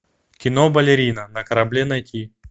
кино балерина на корабле найти